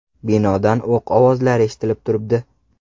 Binodan o‘q ovozlari eshitilib turibdi.